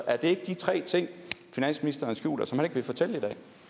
er det ikke de tre ting finansministeren skjuler som han ikke vil fortælle